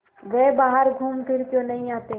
वे बाहर घूमफिर क्यों नहीं आते